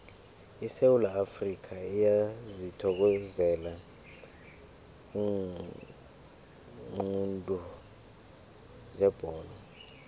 isewula afrikha iyazithokozela iinqundu zebholo